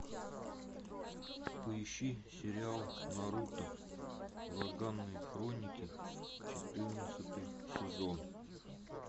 поищи сериал наруто ураганные хроники четырнадцатый сезон